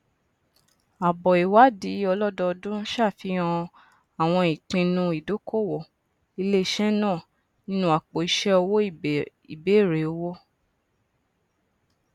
àbọ ìwádìí ọlọdọòdún ṣàfihàn àwọn ìpinnu ìdókòwò iléisé náà nínú àpòiṣẹ owó ìbẹrẹ òwò